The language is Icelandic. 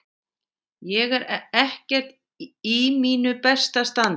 Ég er ekkert í mínu besta standi.